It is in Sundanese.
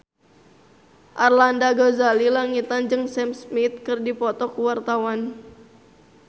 Arlanda Ghazali Langitan jeung Sam Smith keur dipoto ku wartawan